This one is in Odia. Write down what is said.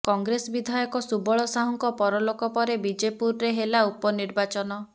କଂଗ୍ରେସ ବିଧାୟକ ସୁବଳ ସାହୁଙ୍କ ପରଲୋକ ପରେ ବିଜେପୁରରେ ହେଲା ଉପନିର୍ବାଚନ